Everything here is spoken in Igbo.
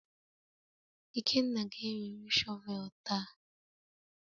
Ikenna ga-ewere shọvel taa